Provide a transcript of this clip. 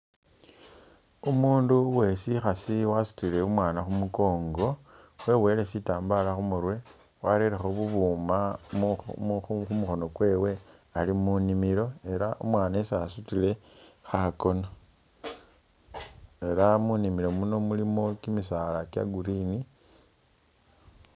Umundu uwesikhaasi wasutile umwana khumukongo weboyele sitambala khumurwe warelekho bubuma mu mu khumukhoono kwewe ali munimilo ela umwana esa sutile khakoona ela munimilo muno mulimo kimisaala kya green